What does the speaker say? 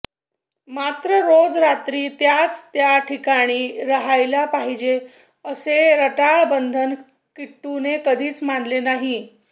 मात्र रोज रात्री त्याच त्या ठिकाणी रहायला पाहिजे असे रटाळ बंधन किट्टूने कधीच मानले नाही